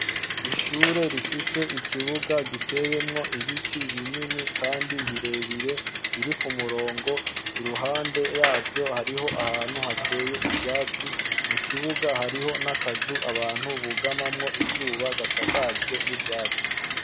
Ishure rifise ikibuga giteyemwo ibiti binini kandi birebire biri ku murongo, iruhande yavyo hariho ahantu hateye ivyatsi, mu kibuga hariho n'akazu abantu bugamamwo izuba, gasakajwe n'ivyatsi.